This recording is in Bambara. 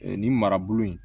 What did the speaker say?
nin marabolo in